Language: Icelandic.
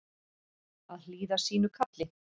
Að hlýða sínu kalli